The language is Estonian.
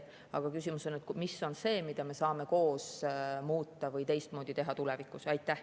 Aga küsimus on selles, mida me saame koos muuta või tulevikus teha teistmoodi.